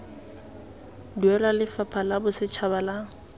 duelwa lefapha la bosetšhaba la